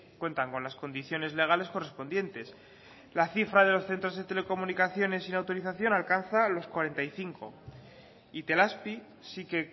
cuentan con las condiciones legales correspondientes la cifra de los centros de telecomunicaciones sin autorización alcanza los cuarenta y cinco itelazpi sí que